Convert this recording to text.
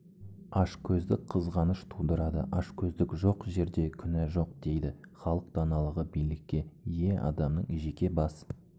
ашкөздік қызғаныш тудырады ашкөздік жоқ жерде күнә жоқ дейді халық даналығы билікке ие адамның жеке бас